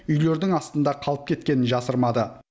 үйлердің астында қалып кеткенін жасырмады